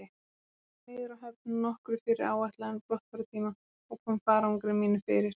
Ég fór niður að höfn nokkru fyrir áætlaðan brottfarartíma og kom farangri mínum fyrir.